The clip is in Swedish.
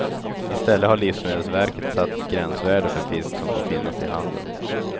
I stället har livsmedelsverket satt ett gränsvärde för fisk som får finnas i handeln.